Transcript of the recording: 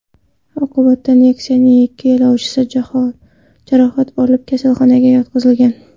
Oqibatda Nexia’ning ikki yo‘lovchisi jarohat olib, kasalxonaga yotqizilgan.